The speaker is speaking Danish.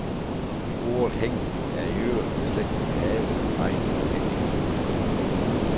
Ordet hæg er i øvrigt beslægtet med have, hegn og hæk